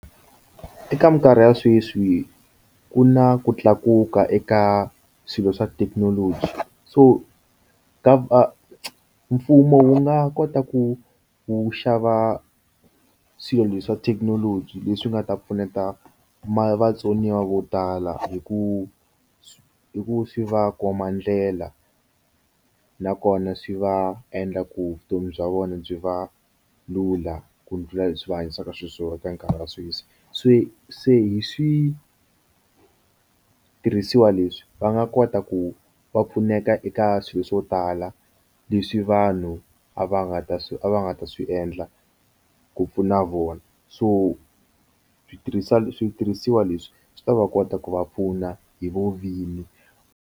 Eka minkarhi ya sweswi ku na ku tlakuka eka swilo swa thekinoloji so ka mfumo wu nga kota ku wu xava swilo swa thekinoloji leswi nga ta pfuneta vatsoniwa vo tala hi ku hi ku swi va komba ndlela nakona swi va endla ku vutomi bya vona byi va lula byi ku ndlhula leswi va hanyisaka xiswona eka nkarhi wa sweswi se se hi switirhisiwa leswi va nga kota ku va pfuneka eka swilo swo tala leswi vanhu a va nga ta swi a va nga ta swi endla ku pfuna vona so switirhisa switirhisiwa leswi swi ta va kota ku va pfuna hi lovini.